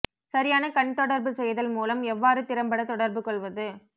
சரியான கண் தொடர்பு செய்தல் மூலம் எவ்வாறு திறம்பட தொடர்பு கொள்வது